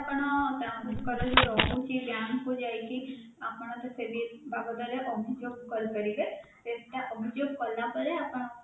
ଆପଣ bank locker ବି ରହୁଛି bank କୁ ଯାଇକି ଆପଣ ସେଇ ବାବଦରେ ଅଭିଯୋଗ କରିପାରିବେ ସେଇଟା ଅଭିଯୋଗ କଲା ପରେ ଆପଣ